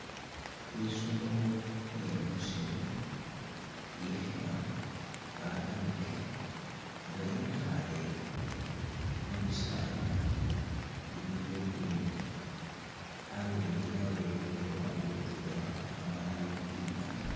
Isolo iyemusiru ikhima, ah inguke nga yekhale mubisala bili bya'green alole yalolelele luwande lutwela amaala ili imali